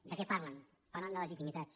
de què parlen parlen de legitimitats